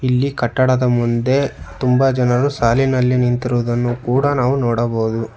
ಇಲ್ಲಿ ಕಟ್ಟಡದ ಮುಂದೆ ತುಂಬ ಜನರು ಸಾಲಿನಲ್ಲಿ ನಿಂತಿರುವುದನ್ನು ಕೂಡ ನಾವು ನೋಡಬಹುದು.